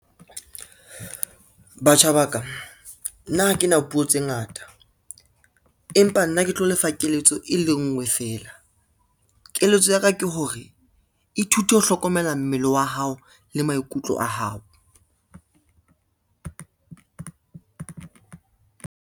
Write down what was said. Batjha ba ka, nna ha kena puo tse ngata, empa nna ke tlo lefa keletso e le nngwe fela. Keletso ya ka ke hore ithute ho hlokomela mmele wa hao le maikutlo a hao.